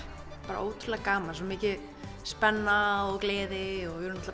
bara ótrúlega gaman svo mikil spenna og gleði og við vorum